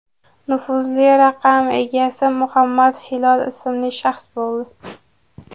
Nufuzli raqam egasi Muhammad Hilol ismli shaxs bo‘ldi.